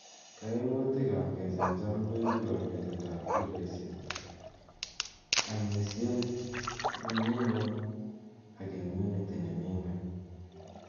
kaoimutig ab kechamjam ko ibu kabetet ab kiloisyeg, amisien ne mi ng'weny ag immunity ne mi ng'weny